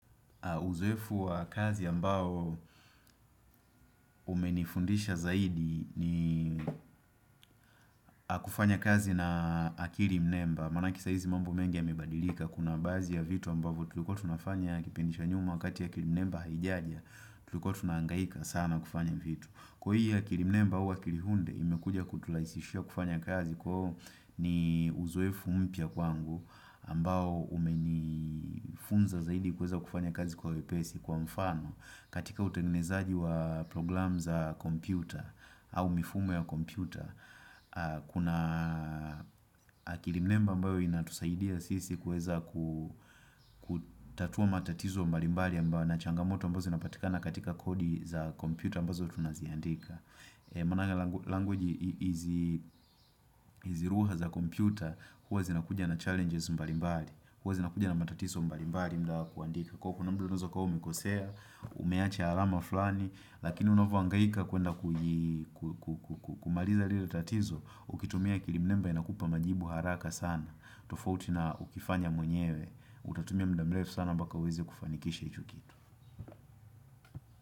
Uzoefu wa kazi ambao umenifundisha zaidi ni kufanya kazi na akali mnemba. Manake saizi mambo mengi yamebadilika kuna baadhi ya vitu ambavyo tuliko tunafanya kipindi cha nyuma wakati akili mnemba haijaja. Tulikuwa tunaangaika sana kufanya vitu. Kuhi ya akili mnemba ua akilihunde imekuja kuturaisisha kufanya kazi kwahuo ni uzoefu mpya kwangu ambao umenifunza zaidi kuweza kufanya kazi kwa wepesi kwa mfano. Katika utegnezaji wa program za kompyuta au mifumo ya kompyuta Kuna akili mnemba ambayo inatusaidia sisi kueza kutatua matatizo mbali mbali na changamoto ambao zinapatika na katika kodi za kompyuta ambazo tunaziandika Manake language izilugha za kompyuta Huwa zinakuja na challenges mbali mbali Huwa zinakuja na matatizo mbali mbali muda wa kuandika Kwa kuwa na muda unaeza kuwa umekosea, umeache alama fulani, lakini unavyoangaika kuenda kumaliza lile tatizo, ukitumia akilimnemba inakupa majibu haraka sana, tofauti na ukifanya mwenyewe, utatumia muda mrefu sana mbaka uweze kufanikisha hicho kitu.